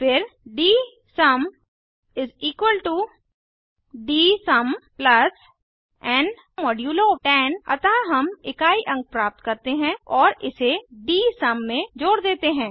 फिर डीएसयूम डीएसयूम एन 10 अतः हम इकाई अंक प्राप्त करते हैं और इसे डीएसयूम में जोड़ देते हैं